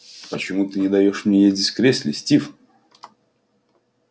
почему ты не даёшь мне ездить в кресле стив